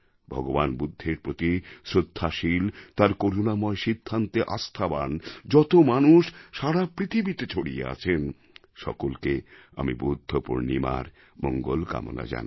ভগবান বুদ্ধের প্রতি শ্রদ্ধাশীল তাঁর করুণাময় সিদ্ধান্তে আস্থাবান যত মানুষ সারা পৃথিবীতে ছড়িয়ে আছেন সকলকে আমি বুদ্ধপূর্ণিমার মঙ্গলকামনা জানাই